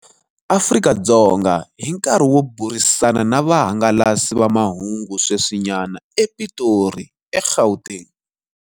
Afrika-Dzonga hi nkarhi wo burisana na vahangalasi va mahungu sweswinyana ePitori, eGauteng.